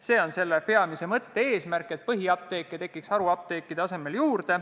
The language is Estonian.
See on see peamine mõte – see, et haruapteekide asemel tekiks juurde põhiapteeke.